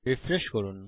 refresh করুন